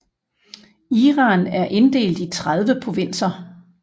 Iran er inddelt i 30 provinser